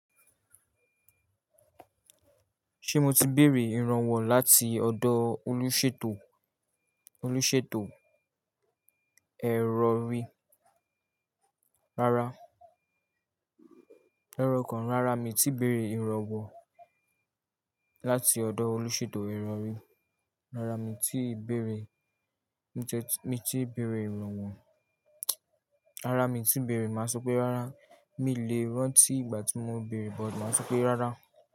Ṣé mo ti béèrè ìrànwọ́ láti ọ̀dọ̀ olùṣètò, olùṣètò ẹ̀rọ rí? Rárá, ẹ̀rọ kan rárá mii ti béèrè ìrànwọ́ láti ọ̀dọ̀ olùṣètò ẹ̀rọ rí. Rárá mii ti béèrè, mi tiẹ mi ti béèrè ìrànwọ́. Rárá mii ti béèrè, màá sọ pé rárá mii le rán tí ìgbà tí mo béèrè, but màá sọ pé rárá.